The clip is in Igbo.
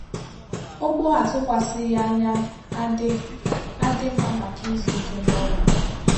Ụ̀gbọ àtụkwasịghị anya a dị a dị mma maka izu ìké na ọrụ m